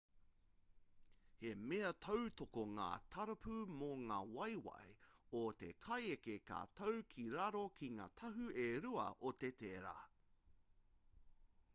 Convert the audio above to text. he mea tautoko ngā tarapu mō ngā waewae o te kaieke ka tau ki raro ki ngā taha e rua o te tera